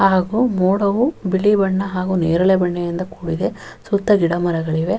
ಹಾಗು ಮೋಡವು ಬಿಳಿ ಬಣ್ಣ ಹಾಗು ನೇರಳೆ ಬಣ್ಣದಿಂದ ಕೂಡಿದೆ ಸುತ್ತ ಗಿಡ ಮರಗಳಿವೆ --